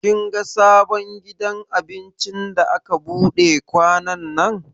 Kin ga sabon gidan abincin da aka buɗe kwanannan?